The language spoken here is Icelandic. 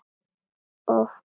Of fast.